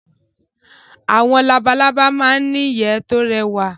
Awọn labalábá ma ń n'ìyẹ́ tó rẹwà